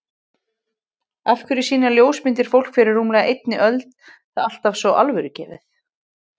Af hverju sýna ljósmyndir fólk fyrir rúmlega einni öld það alltaf svo alvörugefið?